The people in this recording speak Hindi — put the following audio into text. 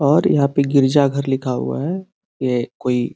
और यहां पे गिरजा घर लिखा हुआ है ये कोई --